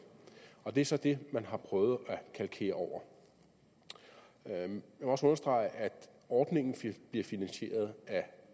og det er så det man har prøvet at kalkere over jeg vil også understrege at ordningen bliver finansieret af